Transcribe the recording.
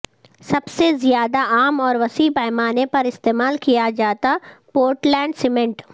سب سے زیادہ عام اور وسیع پیمانے پر استعمال کیا جاتا پورٹلینڈ سیمنٹ